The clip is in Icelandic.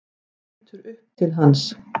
Lítur upp til hans.